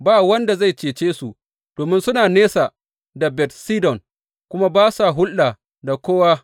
Ba wanda zai cece su domin suna nesa da Bet Sidon kuma ba sa hulɗa da kowa.